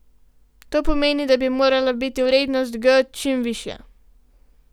To pomeni, da bi morala biti vrednost g čim višja.